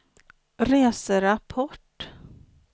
reserapport